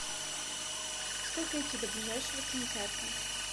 сколько идти до ближайшего кинотеатра